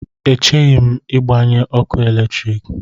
Echeghị m ịgbanyụ ọkụ eletrik.